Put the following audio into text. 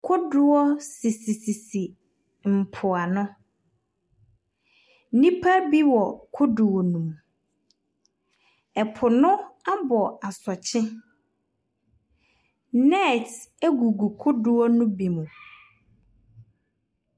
Kodoɔ sisisisi mpoano, nnipa bi wɔ kodoɔ no mu. Po no abɔ asɔkye, net gugu kodoɔ ne bi mu.